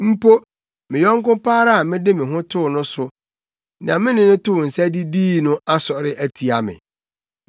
Mpo me yɔnko pa ara a mede me ho too no so, nea me ne no too nsa didii no, asɔre atia me.